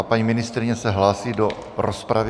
A paní ministryně se hlásí do rozpravy.